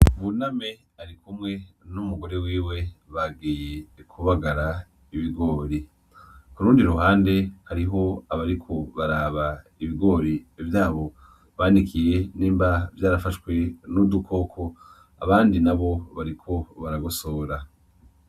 Buname arikumwe n'umugore wiwe, bagiye kubagara Ibigori kurundi ruhande hari Ibigori vyabo banikiye nimba vyarafashwe n' udukoko abandi nabo bariko baragosora.